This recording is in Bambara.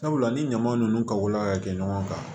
Sabula ni ɲama ninnu kako la ka kɛ ɲɔgɔn kan